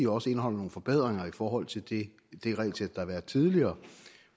også indeholder nogle forbedringer i forhold til det regelsæt der har været tidligere